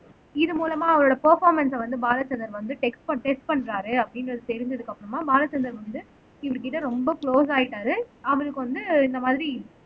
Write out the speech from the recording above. இது மூலமா அவரோட பர்பாமன்ஸ வந்து பாலச்சந்தர் வந்து டெக்ஸ்ட் டெஸ்ட் பண்றாரு, அப்படின்றது தெரிஞ்சதுக்கு அப்றமா பாலச்சந்தர் வந்து இவருகிட்ட ரொம்ப க்ளோஸ் ஆயிட்டாரு அவருக்கு வந்து இந்த மாதிரி